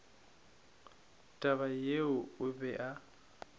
taba yeo o be a